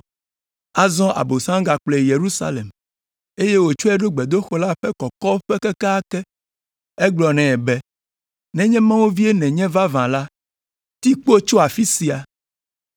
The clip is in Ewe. Azɔ Abosam gakplɔe yi Yerusalem, eye wòtsɔe ɖo gbedoxɔ la ƒe kɔkɔƒe kekeake. Egblɔ nɛ be, “Nenye Mawu vie nènye vavã la, ti kpo tso afi sia.